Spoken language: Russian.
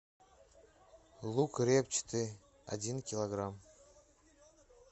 лук репчатый один килограмм